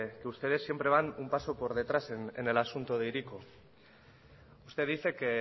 que ustedes siempre van un paso por detrás en el asunto de hiriko usted dice que